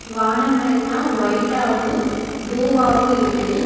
வானமெல்லா white ஆவு ப்ளூவாவு இருக்கு.